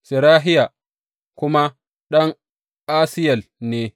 Serahiya kuma ɗan Asiyel ne.